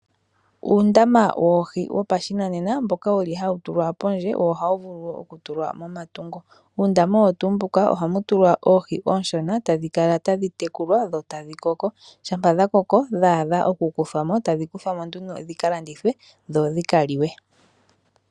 Uundama woohi wopashinanena mboka wuli hawu tulwa pondje wo ohawu vulu wo oku tulwa momatungo. Uundama owo tuu mbuka ohamu tulwa oohi ooshona tadhi kala tadhi tekulwa dho tadhi koko, shampa dha koko dhadha oku kuthwamo tadhi kuthwa nduno dhika landithwe dho dhika liwe.